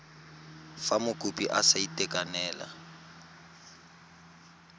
fa mokopi a sa itekanela